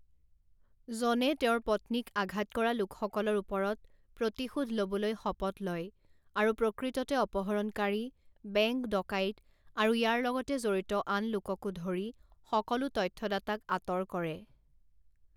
জনে তেওঁৰ পত্নীক আঘাত কৰা লোকসকলৰ ওপৰত প্ৰতিশোধ ল'বলৈ শপত লয় আৰু প্ৰকৃততে অপহৰণকাৰী, বেংক ডকাইত আৰু ইয়াৰ লগত জড়িত আন লোককে ধৰি সকলো তথ্যদাতাক আঁতৰ কৰে।